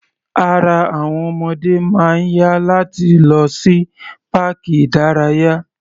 Ara àwọn ọmọdé máa ń yá láti lọ sí páàkì ìdárayá.